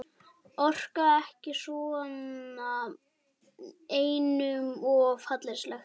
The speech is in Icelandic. Orka ekki svona, einum of hallærislegt.